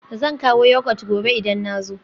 Zan kawo Yogurt gobe idan na zo